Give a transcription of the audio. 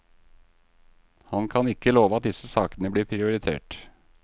Han kan ikke love at disse sakene blir prioritert.